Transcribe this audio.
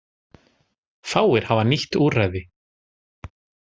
Fáir hafa nýtt úrræði